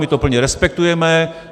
My to plně respektujeme.